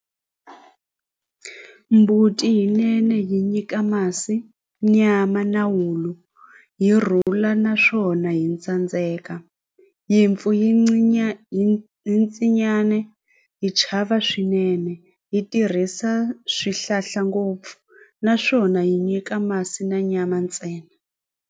Mbuti yinene yi nyika masi nyama na wulu yi rhula naswona hi tsandzeka nyimpfu yi hi hi chava swinene hi tirhisa swihlahla ngopfu naswona yi nyika masi na nyama ntsena.